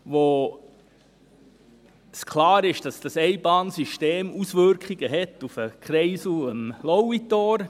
Es ist klar, dass das Einbahnsystem Auswirkungen auf den Kreisel am Lauitor hat.